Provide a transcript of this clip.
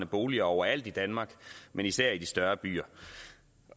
boliger overalt i danmark men især i de større byer